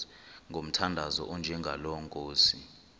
ngomthandazo onjengalo nkosi